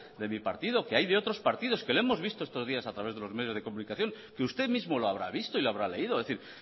de mi partido que hay de otros partidos que lo hemos visto días a través de los medios de comunicación que usted mismo lo habrá visto y lo habrá leído es decir